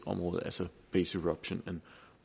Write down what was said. området altså base erosion and